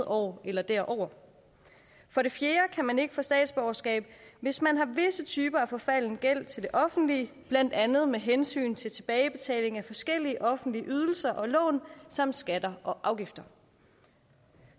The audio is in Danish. år eller derover for det fjerde kan man ikke få statsborgerskab hvis man har visse typer af forfalden gæld til det offentlige blandt andet med hensyn til tilbagebetaling af forskellige offentlige ydelser og lån samt skatter og afgifter